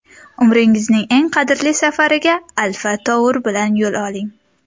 Umringizning eng qadrli safariga Alfa Tour bilan yo‘l oling!